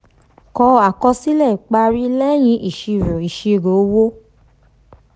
kọ àkọsílẹ̀ ìparí lẹ́yìn ìṣirò ìṣirò owó.